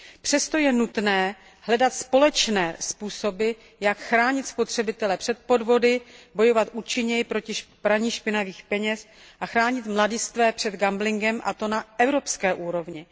Přesto je nutné hledat společné způsoby, jak chránit spotřebitele před podvody, bojovat účinněji proti praní špinavých peněz a chránit mladistvé před gamblingem, a to na evropské úrovní.